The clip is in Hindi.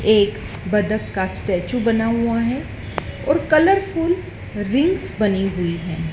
एक बतख का स्टेचू बना हुआ है और कलरफुल रिंग्स बनी हुई हैं।